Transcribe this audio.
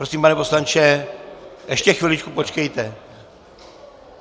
Prosím, pane poslanče, ještě chviličku počkejte.